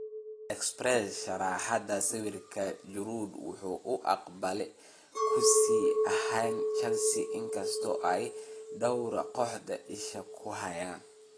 (Express) Sharraxaadda sawirka, Giroud waxa uu baaqi ku sii ahaanayaa Chelsea inkasta oo ay dhawr kooxood isha ku hayaan.